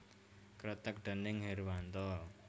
Kreteg déning Herwanto